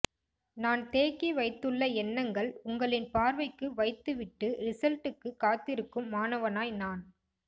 நான் தேக்கி வைத்துள்ள எண்ணங்கள் உங்களின் பார்வைக்கு வைத்துவிட்டு ரிசல்டுக்கு காத்திருக்கும் மாணவனாய் நான்